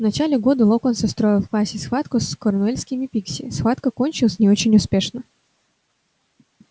в начале года локонс устроил в классе схватку с корнуэльскими пикси схватка кончилась не очень успешно